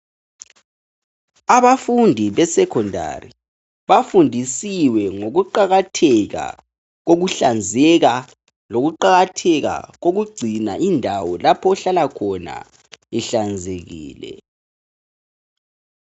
Abafundi be secondary bafundisiwe ngokuqakatheka kokuhlanzeka lokuqakatheka kokugcina indawo lapho ohlalakhona ihlanzekile.